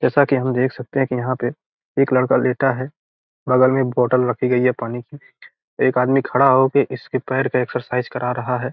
जैसा की हम देख सकते हैं की यहाँ पे एक लड़का लेटा है बगल में एक बोतल रखी गई है पानी की। एक आदमी खड़ा होके इसके पैर का एक्सरसाइज करा रहा है।